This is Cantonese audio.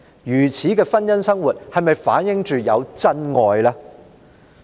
如此的婚姻生活是否反映有真愛？